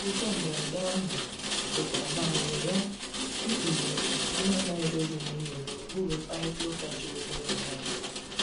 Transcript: Nzụko mgberede ahụ dika a manyere ya, ịkpughe mgbụ ha na‐edozilighi n'okpuru mkparịta uka juru n'obi nwayo.